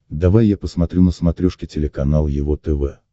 давай я посмотрю на смотрешке телеканал его тв